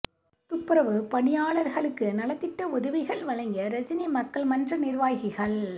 துப்புரவுப் பணியாளர்களுக்கு நலத்திட்ட உதவிகள் வழங்கிய ரஜினி மக்கள் மன்ற நிர்வாகிகள்